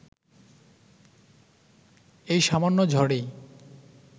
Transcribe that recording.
এই সামান্য ঝড়েই